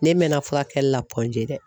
Ne mɛnna furakɛli la G dɛ.